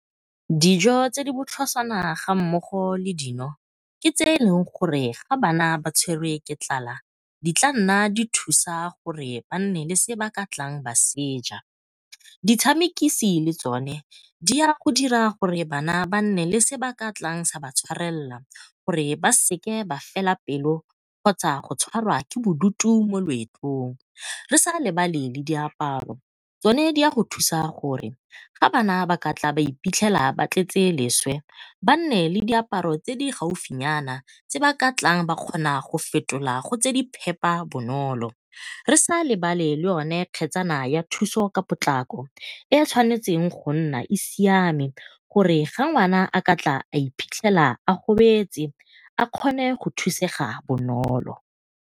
Dijo tse di botlhoswana ga mmogo le dino ke tse e leng gore ga bana ba tshwerwe ke tlala di tla nna di thusa gore banne le se ba ka tlang ba seja. Ditshamekisi le tsone di ya go dira gore bana ba nne le se ba ka tlang sa ba tshwarelela gore ba seke ba fela pelo kgotsa go tshwarwa ke bodutu mo loetong. Re sa lebale le diaparo tsone di ya go thusa gore fa bana ba ka iphitlhela ba tletse leswe ba nne le diaparo tse di gaufinyana tse ba ka tlang ba kgona go fetola go tse di phepa bonolo. Re sa lebale le yone kgetsana ya thuso ka potlako e e tshwanetseng go nna e siame, gore ga ngwana a ka iphitlhela a gobetse a kgone go thusega bonolo.